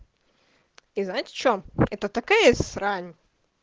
и знаете что это такая срань